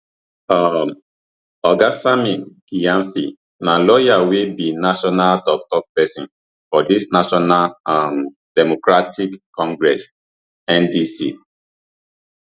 um oga sammy gyamfi na lawyer wey be national toktok pesin for dis national um democratic congress ndc